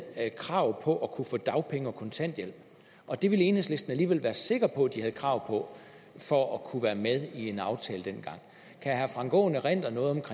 krav på at få dagpenge og kontanthjælp og det ville enhedslisten alligevel være sikker på at de havde krav på for at kunne være med i en aftale dengang kan herre frank aaen erindre noget